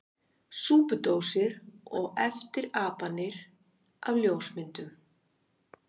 Súpudósir og eftirapanir af ljósmyndum!